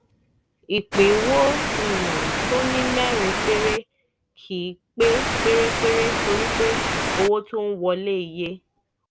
ìpínwó um tó ní mẹ́rin péré kì í pé pérépéré torí pé owó tó ń wọlé iye